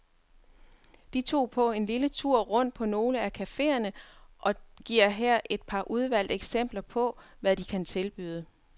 De tog på en lille tur rundt på nogle af caféerne og giver her et par udvalgte eksempler på, hvad de kan tilbyde.